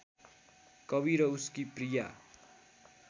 कवि र उसकी प्रिया